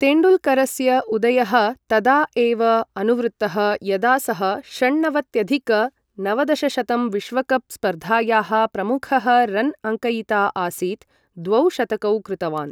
तेण्डुल्करस्य उदयः तदा एव अनुवृत्तः यदा सः षण्णवत्यधिक नवदशशतं विश्वकप् स्पर्धायाः प्रमुखः रन् अङ्कयिता आसीत्, द्वौ शतकौ कृतवान्।